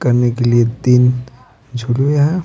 करने के लिए तीन झुगिया हैं।